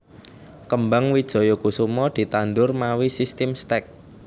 Kembang Wijaya Kusuma ditandhur mawi sistim stek